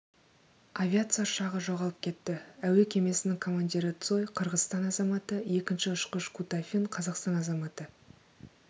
авиация ұшағы жоғалып кетті әуе кемесінің командирі цой қырғызстан азаматы екінші ұшқыш кутафин қазақстан азаматы